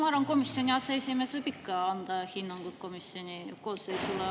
Ma arvan, et komisjoni aseesimees võib ikka anda hinnanguid komisjoni koosseisule.